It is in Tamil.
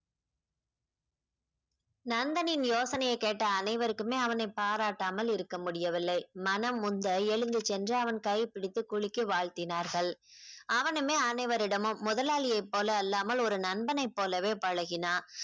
நந்தனின் யோசனையை கேட்ட அனைவருக்குமே அவனை பாராட்டாமல் இருக்க முடியவில்லை மனம் உந்த எழுந்து சென்று அவன் கைபிடித்து குளிக்கி வாழ்த்தினார்கள் அவனுமே அனைவரிடமும் முதலாளியை போல அல்லாமல் ஒரு நந்தனைப் போலவே பழகினான்